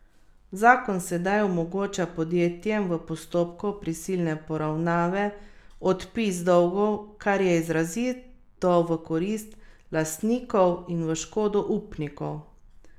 Zakon sedaj omogoča podjetjem v postopku prisilne poravnave odpis dolgov, kar je izrazito v korist lastnikov in v škodo upnikov.